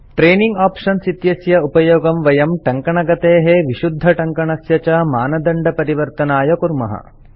training options इत्यस्य उपयोगं वयं टङ्कनगतेः विशुद्धटङ्कणस्य च मानदण्डपरिवर्तनाय कुर्मः